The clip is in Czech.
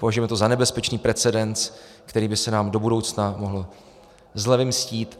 Považujeme to za nebezpečný precedens, který by se nám do budoucna mohl zle vymstít.